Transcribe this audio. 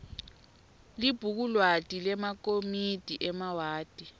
libhukulwati lemakomidi emawadi